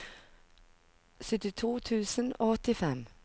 syttito tusen og åttifem